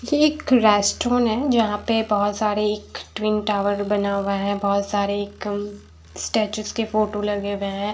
ये एक रेस्ट्रॉंन्ट है जहाँं पर बहुत सारे एक टविन टॉवर बना हुआ है बहुत सारे एक स्टेचूस के फोटो लगे हुए हैं।